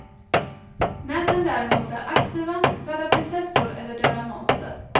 Männen däremot är aktiva, räddar prinsessor eller dödar monster.